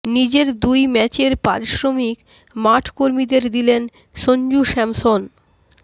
নিজের দুই ম্যাচের পারিশ্রমিক মাঠ কর্মীদের দিলেন সঞ্জু স্যামসন